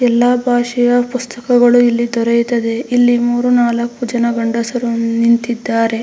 ಎಲ್ಲಾ ಭಾಷೆಯ ಪುಸ್ತಕಗಳು ಇಲ್ಲಿ ದೊರೆಯುತ್ತದೆ ಇಲ್ಲಿ ಮೂರು ನಾಲ್ಕು ಜನ ಗಂಡಸರು ನಿಂತಿದ್ದಾರೆ.